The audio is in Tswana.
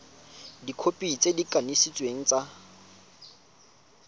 dikhopi tse di kanisitsweng tsa